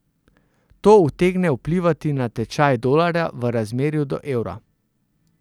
To utegne vplivati na tečaj dolarja v razmerju do evra.